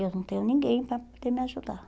Eu não tenho ninguém para poder me ajudar.